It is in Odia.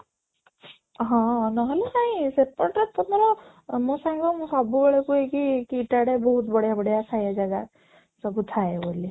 ହଁ, ନହେଲେ ନାଇଁ ସେପଟରେ ତମର ଅଂ ମୋ ସାଙ୍ଗ ମୁଁ ସବୁବେଳେ କୁହେ କି, କି KIIT ଆଡେ ବହୁତ ବଢିଆ ବଢିଆ ଖାଇବା ଜାଗା ସବୁ ଥାଏ ବୋଲି